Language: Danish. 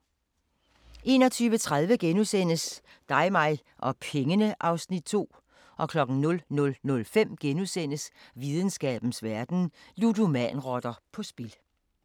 21:30: Dig mig og pengene (Afs. 2)* 00:05: Videnskabens Verden: Ludomanrotter på spil *